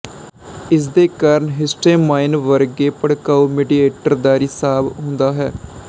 ਇਸਦੇ ਕਾਰਨ ਹਿਸਟੇਮਾਈਨ ਵਰਗੇ ਭੜਕਾਊ ਮੇਡਿਏਟਰ ਦਾ ਰਿਸਾਵ ਹੁੰਦਾ ਹੈ